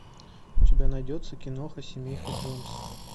у тебя найдется киноха семейка джонсов